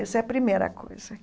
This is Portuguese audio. Essa é a primeira coisa.